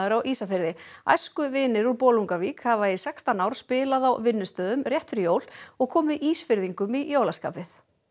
á Ísafirði æskuvinir úr Bolungarvík hafa í sextán ár spilað á vinnustöðum rétt fyrir jól og komið Ísfirðingum í jólaskapið